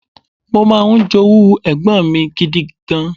Mo máa ń jowú ẹ̀gbọ́n mi gidi gan.